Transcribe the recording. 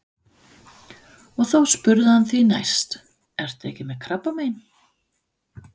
Og þá spurði hann því næst: Ertu ekki með krabbamein?